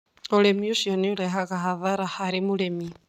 Ũndũ ũcio nĩ ũrehaga hathara harĩ mũrĩmi.